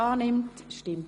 Bei andern entfällt das.